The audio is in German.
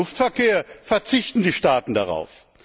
Beim Luftverkehr verzichten die Staaten darauf.